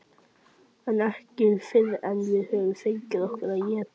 En ekki fyrr en við höfum fengið okkur að éta.